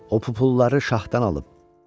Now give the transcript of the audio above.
"O pulları şaxdan alıb."